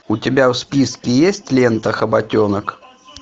у тебя в списке есть лента хоботенок